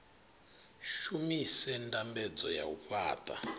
shumise ndambedzo ya u fhaṱa